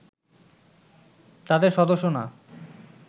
তাদের সদস্য না